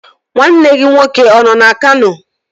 Nwanne gị nwoke ọ nọ na Kano?